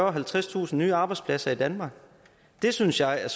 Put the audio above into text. og halvtredstusind nye arbejdspladser i danmark det synes jeg er